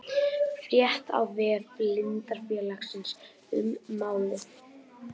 Frétt á vef Blindrafélagsins um málið